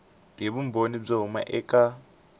hi vumbhoni byo huma eka